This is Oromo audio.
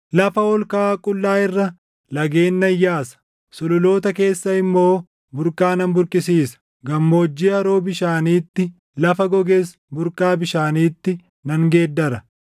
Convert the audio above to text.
Lafa ol kaʼaa qullaa irra lageen nan yaasa; sululoota keessa immoo burqaa nan burqisiisa. Gammoojjii haroo bishaaniitti, lafa goges burqaa bishaaniitti nan geeddara.